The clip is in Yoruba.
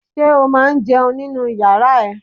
Ṣé o máa ń jẹun nínu yàrá ẹ?